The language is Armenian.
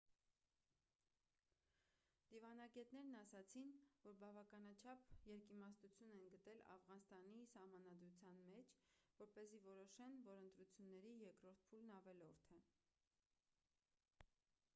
դիվանագետներն ասացին որ բավականաչափ երկիմաստություն են գտել աֆղանստանի սահմանադրության մեջ որպեսզի որոշեն որ ընտրությունների երկրորդ փուլն ավելորդ է